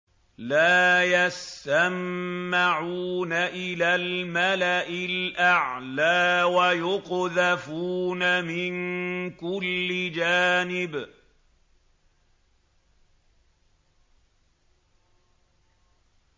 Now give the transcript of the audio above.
لَّا يَسَّمَّعُونَ إِلَى الْمَلَإِ الْأَعْلَىٰ وَيُقْذَفُونَ مِن كُلِّ جَانِبٍ